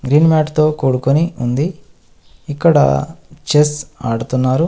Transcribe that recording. Green mat తో కూడుకొని ఉంది ఇక్కడ చెస్ ఆడుతున్నారు.